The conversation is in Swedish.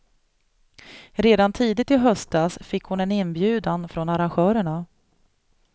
Redan tidigt i höstas fick hon en inbjudan från arrangörerna.